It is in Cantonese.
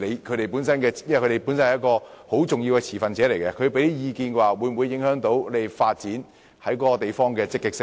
他們是很重要的持份者，他們提出的意見會否影響你們在相關地區進行發展的積極性？